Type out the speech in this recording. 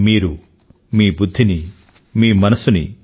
మీరు మీ బుధ్ధిని మీ మనసుని